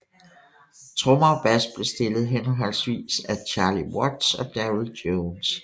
Trommer og bass blev spillet henholdsvis af Charlie Watts og Darryl Jones